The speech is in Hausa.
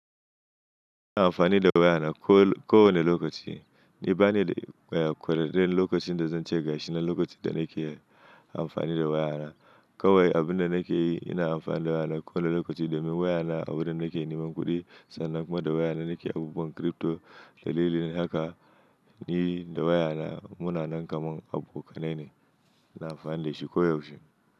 Ina amfani da wayana ko kowane lokaci. Ni bani da waya kowane lokacin da zan ce gashi na lokacin da nake amfani da wayana. Kawai abin da nake yi ina amfani da wayana kowane lokaci domin wayana a wurin nake neman kuɗi sannan kuma da wayana nake abubuwan crpto da liin haka ni da wayana muna nan kamar abokanai ne. Ina amfani da shi koyaushe.